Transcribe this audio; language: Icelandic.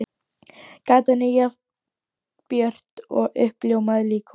Gatan er jafn björt og uppljómað líkhús.